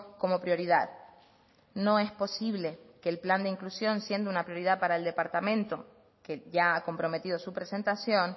como prioridad no es posible que el plan de inclusión siendo una prioridad para el departamento que ya ha comprometido su presentación